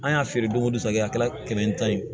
An y'a feere don o don kɛ a kɛra kɛmɛ tan ye